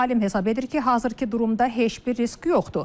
Alim hesab edir ki, hazırki durumda heç bir risk yoxdur.